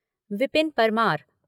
Vipin Parmar